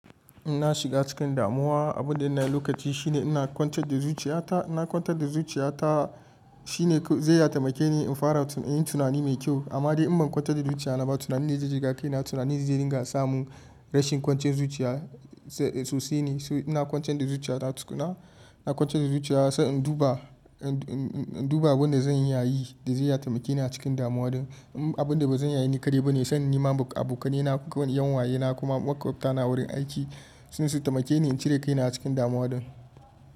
In na shiga cikin damuwa, abin da na yi lokaci shine ina kwance da zuciya ta. Na kwance da zuciya ta shine zai ya tamake ni in fara yin tunani mai kyau amma dai in ban kwantar da zuciya na ba tunanin da zai jigakaini na tunanin zai ringa sa mun rashin kwanciyan zuciya sosai ne. So ina kwance da zuciya ta tukunna, ina kwance da zuciya don in duba, in duba abin da zan yi da zai ya tamake ni a cikin damuwa din. Abin da bazan yaye ni kare ba ne son in nema abokanai na kuma yan waye na kuma maƙwabta na a wurin aiki sunyi su tamake ni in cire kaina cikin damuwa din.